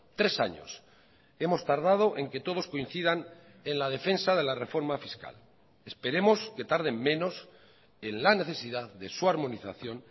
tres años hemos tardado en que todos coincidan en la defensa de la reforma fiscal esperemos que tarden menos en la necesidad de su armonización